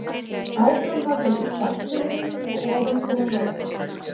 Áframhaldandi hvassviðri og ofankoma norðantil